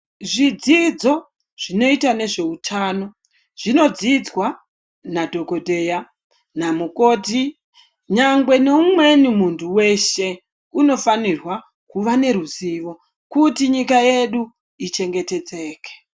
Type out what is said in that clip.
Zvidzidzo zvinoita nezveutano zvinodzidzwa nadhokodheya namukoti nyangwe neumweni muntu weshe unofanirwa kuva neruzivo kuti nyika yedu ichengetedzeke.